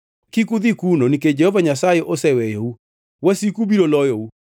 Kik udhi kuno, nikech Jehova Nyasaye oseweyou. Wasiku biro lou,